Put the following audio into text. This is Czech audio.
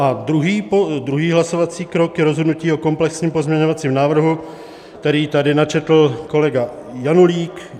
A druhý hlasovací krok je rozhodnutí o komplexním pozměňovacím návrhu, který tady načetl kolega Janulík.